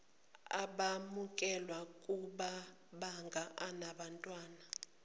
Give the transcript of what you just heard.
abamukelwe kumabanga anabantwana